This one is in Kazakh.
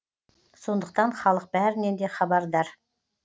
сондықтан халық бәрінен де хабардар